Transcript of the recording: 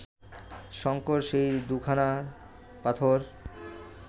শঙ্কর সে দু’খানা পাথর